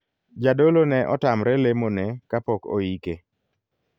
Jadolo ne otamre lemo ne kapok oike.